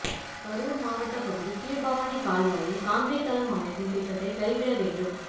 கரூர் மாவட்ட பகுதி கீழ்பவானி கால்வாயில் கான்கிரீட் தளம் அமைக்கும் திட்டத்தை கைவிட வேண்டும்